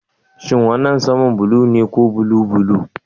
Shin wannan sama blue ne ko blue blue?